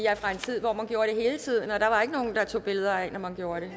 er fra en tid hvor man gjorde hele tiden og der var ikke nogen der tog billeder af det når man gjorde